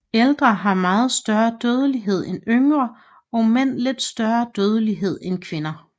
Ældre har meget større dødelighed end yngre og mænd lidt større dødelighed end kvinder